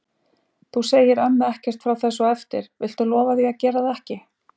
Þú segir ömmu ekkert frá þessu á eftir. viltu lofa því að gera það ekki?